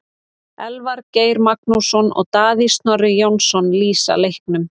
Elvar Geir Magnússon og Davíð Snorri Jónasson lýsa leiknum.